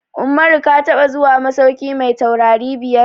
Umaru ka taɓa zuwa masauki mai taurari biyar?